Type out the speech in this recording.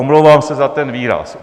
Omlouvám se za ten výraz.